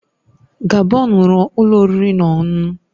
Gabon nwere ụlọ oriri na ọṅụṅụ